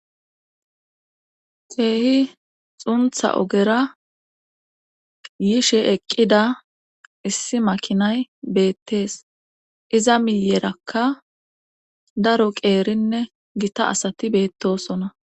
teehi xuntha ogera yishe eqqida issi makinay beettees iza miyerakka daro qeerinne gita asati beettosona